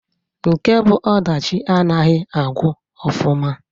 Nke bu ọdachi anaghi agwụ ọfụma.